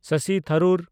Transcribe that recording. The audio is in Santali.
ᱥᱚᱥᱤ ᱛᱷᱟᱨᱩᱨ